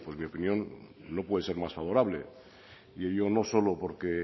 pues mi opinión no puede ser más favorable y ello no solo porque